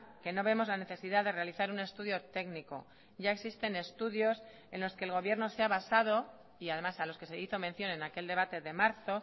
que no vemos la necesidad de realizar un estudio técnico ya existen estudios en los que el gobierno se ha basado y además a los que se hizo mención en aquel debate de marzo